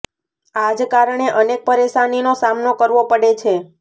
આ જ કારણે અનેક પરેશાનીનો સામનો કરવો પડે છે